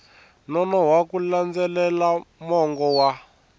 nonoha ku landzelela mongo wa